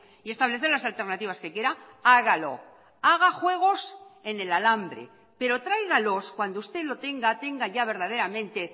y establecer las alternativas que quiera hágalo haga juegos en el alambre pero tráigalos cuando usted lo tenga tenga ya verdaderamente